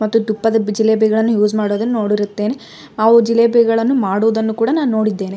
ಆದರಲ್ಲಿ ಒಂದು ಜಿಲೇಬಿ ಮುರಿದುಕೊಂಡಿದೆ.